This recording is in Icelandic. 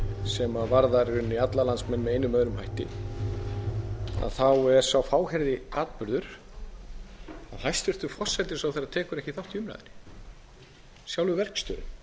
sem varðar í rauninni alla landsmenn með einum eða öðrum hætti þá er sá fáheyrði atburður að hæstvirtur forsætisráðherra tekur ekki þátt í umræðunni sjálfur verkstjórinn